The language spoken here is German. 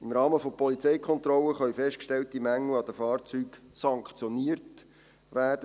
Im Rahmen von Polizeikontrollen können festgestellte Mängel an den Fahrzeugen sanktioniert werden.